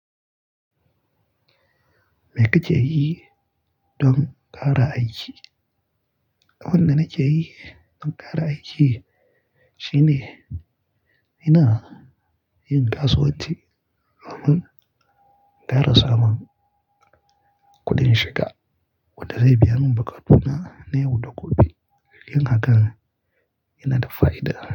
Me kake yi don kare aiki? Abin da nake yi don ƙara aiki shine ina yin kasuwanci domin ƙara samun kuɗin shiga wanda zai biya mun buƙatu na yau da gobe. Shirin hakan yana da fa'ida.